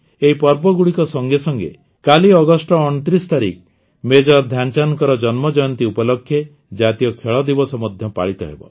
ଏହି ପର୍ବଗୁଡ଼ିକ ସଙ୍ଗେ ସଙ୍ଗେ କାଲି ଅଗଷ୍ଟ ୨୯ ତାରିଖ ମେଜର ଧ୍ୟାନଚାନ୍ଦଙ୍କ ଜନ୍ମଜୟନ୍ତୀ ଉପଲକ୍ଷେ ଜାତୀୟ ଖେଳଦିବସ ମଧ୍ୟ ପାଳିତ ହେବ